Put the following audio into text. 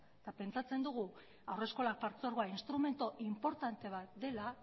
eta pentsatzen dugu haurreskola partzuergoa instrumentu inportante bat dela